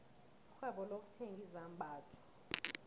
irhwebo lokuthenga izambatho